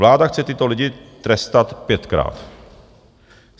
Vláda chce tyto lidi trestat pětkrát.